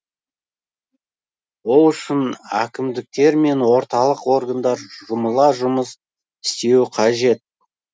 ол үшін әкімдіктер мен орталық органдар жұмыла жұмыс істеуі қажет